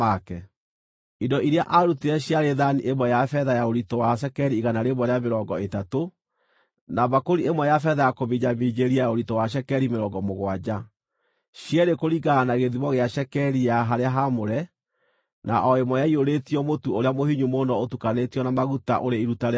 Indo iria aarutire ciarĩ thaani ĩmwe ya betha ya ũritũ wa cekeri igana rĩa mĩrongo ĩtatũ, na mbakũri ĩmwe ya betha ya kũminjaminjĩria ya ũritũ wa cekeri mĩrongo mũgwanja, cierĩ kũringana na gĩthimo gĩa cekeri ya harĩa haamũre, na o ĩmwe ĩiyũrĩtio mũtu ũrĩa mũhinyu mũno ũtukanĩtio na maguta, ũrĩ iruta rĩa mũtu;